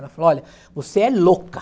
Ela falou, olha, você é louca.